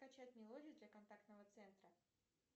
скачать мелодию для контактного центра